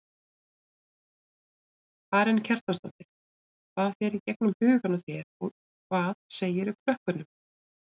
Karen Kjartansdóttir: Hvað fer í gegnum hugann á þér og hvað segirðu krökkunum?